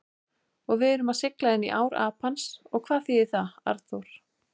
Og við erum að sigla inní ár Apans og hvað þýðir það, Arnþór?